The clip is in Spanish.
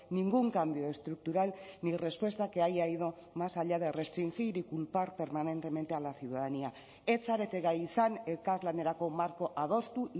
ningún cambio estructural ni respuesta que haya ido más allá de restringir y culpar permanentemente a la ciudadanía ez zarete gai izan elkarlanerako marko adostu